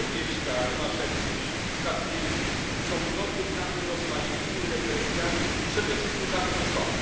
Lebiedźka, Rymaszewski, Statkiewicz są dotykani rozmaitymi represjami przede wszystkim za to, że są.